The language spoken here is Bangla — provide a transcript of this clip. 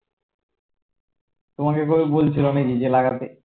তোমাকে এইভাবে বলছিলো নাকি যে লাগাতে